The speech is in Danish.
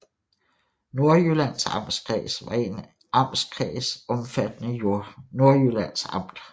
Nordjyllands Amtskreds var en amtskreds omfattende Nordjyllands Amt